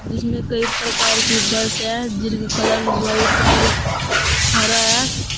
जिसमें कई प्रकार की बस है कलर व्हाइट और हरा है।